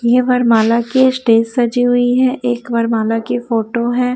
ये वरमाला के स्टेज सजी हुई है एक वरमाला की फोटो है।